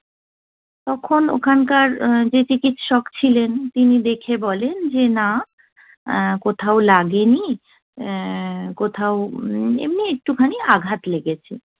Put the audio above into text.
তখন ওখানকার যে চিকিৎসক ছিলেন, তিনি দেখে বলেন যে 'না, আহ কোথাও লাগেনি। উহ কোথাও এমনি একটুখানি আঘাত লেগেছে।'